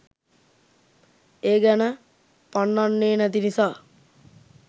ඒ ගැන පන්නන්නෙ නැති නිසා